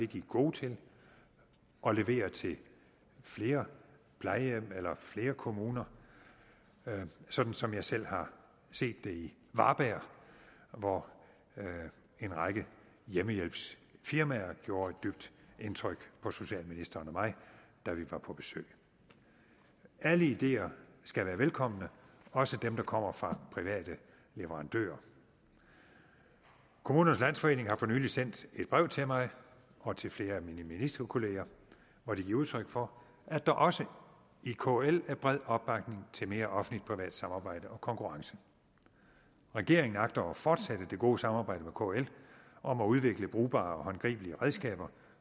de er gode til og leverer til flere plejehjem eller flere kommuner sådan som jeg selv har set det i varberg hvor en række hjemmehjælpsfirmaer gjorde et dybt indtryk på socialministeren og mig da vi var på besøg alle ideer skal være velkomne også dem der kommer fra private leverandører kommunernes landsforening har for nylig sendt et brev til mig og til flere af mine ministerkolleger hvor de giver udtryk for at der også i kl er bred opbakning til mere offentligt privat samarbejde og konkurrence regeringen agter at fortsætte det gode samarbejde med kl om at udvikle brugbare og håndgribelige redskaber